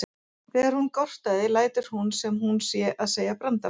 Þegar hún gortar lætur hún sem hún sé að segja brandara.